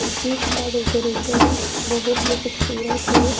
जिसका डेकोरेशन बहुत ही खूबसूरत है।